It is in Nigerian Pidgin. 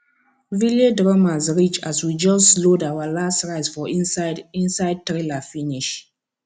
village drummers reach as we just load our last rice for inside inside trailer finish